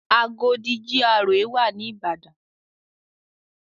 Agodi GRA wà ní Ìbàdàn.